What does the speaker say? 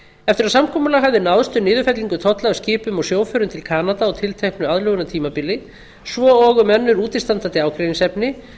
eftir að samkomulag hafði náðst um niðurfellingu tolla af skipum og sjóförum til kanada á tilteknu aðlögunartímabili svo og um önnur útistandandi ágreiningsefni